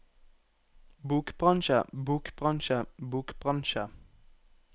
bokbransje bokbransje bokbransje